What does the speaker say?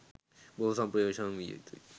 බොහෝ ප්‍රවේශම් විය යුතුය.